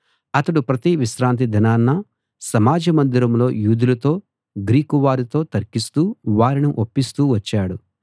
అతడు ప్రతి విశ్రాంతిదినాన సమాజ మందిరంలో యూదులతో గ్రీకు వారితో తర్కిస్తూ వారిని ఒప్పిస్తూ వచ్చాడు